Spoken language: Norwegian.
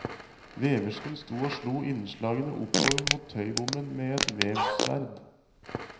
Veversken sto og slo innslagene oppover mot tøybommen med et vevsverd.